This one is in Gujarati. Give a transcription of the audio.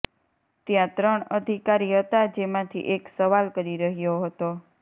ત્યા ત્રણ અધિકારી હતા જેમાંથી એક સવાલ કરી રહ્યો હતો